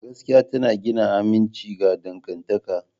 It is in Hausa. Gaskiya tana gina aminci ga dangantaka.